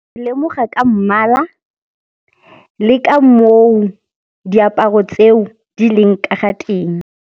Ke lemoga ka mmala le ka moo diaparo tseo di leng ka ga teng.